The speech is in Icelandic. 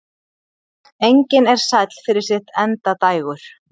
Engin er sæll fyrir sitt endadægur.